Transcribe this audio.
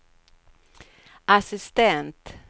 assistent